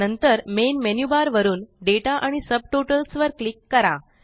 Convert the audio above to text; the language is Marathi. नंतर मेन मेन्यु बार वरुन दाता आणि सबटॉटल्स वर क्लिक करा